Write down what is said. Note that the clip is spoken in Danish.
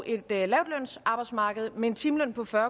et lavtlønsarbejdsmarked med en timeløn på fyrre